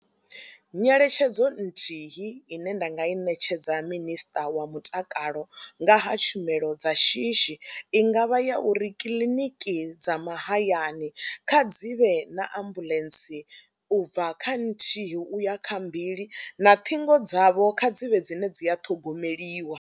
Nyeletshedzo nthihi ine nda nga i ṋetshedza minister wa mutakalo nga ha tshumelo dza shishi i nga vha ya uri kiḽiniki dza mahayani kha dzi vhe na ambuḽentse u bva kha nthihi u ya kha mbili na ṱhingo dzavho kha dzi vhe dzine dzi a ṱhogomeliwa.